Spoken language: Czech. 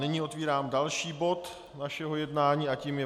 Nyní otevírám další bod našeho jednání a tím je